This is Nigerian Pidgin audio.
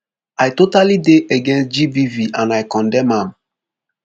i totally dey against gbv and i condemn am